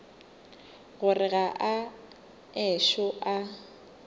gore ga a ešo a